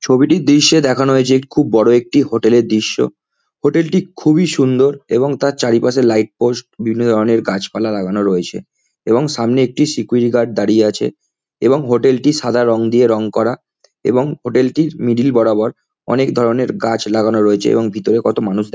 ছবিটির দৃশ্যে দেখানো হয়েছে খুব বড় একটি হোটেল এর দৃশ্য হোটেল টি খুবই সুন্দর এবং তার চারিপাশে লাইট পোস্ট বিভিন্ন ধরনের গাছপালা লাগানো রয়েছে এবং সামনে একটি সিকিউরিটি গার্ড দাঁড়িয়ে আছে এবং হোটেল টি সাদা রং দিয়ে রং করা এবং হোটেল টির মিডিল বরাবর অনেক ধরনের গাছ লাগানো রয়েছে এবং ভিতরে কত মানুষ দেখা--